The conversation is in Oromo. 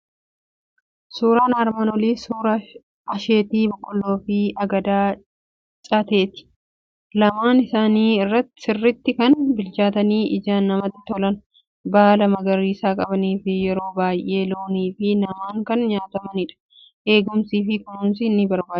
Suuraan armaan Olii suuraa asheetii boqqolloo fi hagadaa cateeti. Lamaan isaanii sirriitti kan bilchaatanii ijaan namatti tolan, baala magariisa qabanii fi yeroo baay'ee loonii fi namaan kan nyaatamanidha. Eegumsaa fi kunuunsas ni barbaadu.